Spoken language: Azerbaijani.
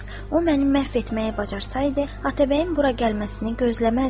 O məni məhv etməyi bacarsaydı, Atabəyin bura gəlməsini gözləməzdi.